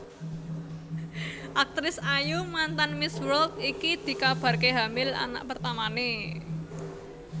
Aktris ayu mantan Miss World iki dikabarke hamil anak pertamane